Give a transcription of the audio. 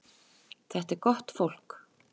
Þetta er gott fólk.